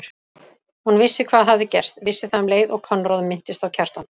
Hún vissi hvað hafði gerst, vissi það um leið og Konráð minntist á Kjartan.